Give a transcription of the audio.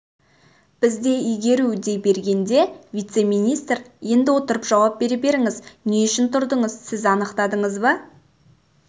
бізде игеру дей бергенде вице-министр енді отырып жауап бере беріңіз не үшін тұрдыңыз сіз анықтадыңыз ба